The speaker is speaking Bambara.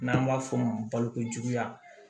N'an b'a f'o ma balo ko juguya